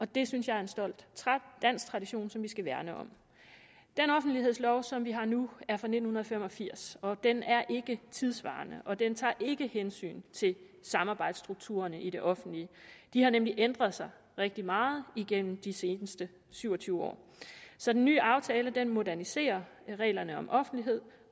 det synes jeg er en stolt dansk tradition som vi skal værne om den offentlighedslov som vi har nu er fra nitten fem og firs og den er ikke tidssvarende og den tager ikke hensyn til samarbejdsstrukturerne i det offentlige de har nemlig ændret sig rigtig meget igennem de seneste syv og tyve år så den nye aftale moderniserer reglerne om offentlighed